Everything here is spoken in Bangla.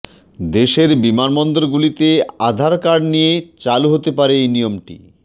দেশের বিমানবন্দরগুলিতে আধার কার্ড নিয়ে চালু হতে পারে এই নিয়মটি